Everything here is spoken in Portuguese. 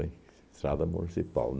Estrada municipal.